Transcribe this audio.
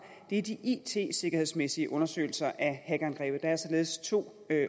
er de it sikkerhedsmæssige undersøgelser af hackerangrebet der er således to